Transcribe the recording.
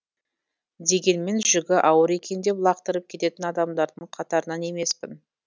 дегенмен жүгі ауыр екен деп лақтырып кететін адамдардың қатарынан емеспін